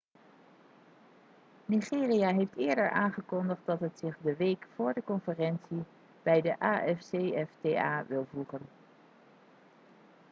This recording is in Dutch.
nigeria heeft eerder aangekondigd dat het zich de week voor de conferentie bij de afcfta wil voegen